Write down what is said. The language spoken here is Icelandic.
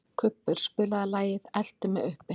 Kubbur, spilaðu lagið „Eltu mig uppi“.